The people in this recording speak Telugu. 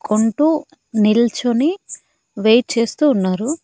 కోన్టు నిల్చోని వెయిట్ చేస్తూ ఉన్నారు.